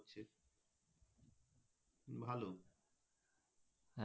ভালো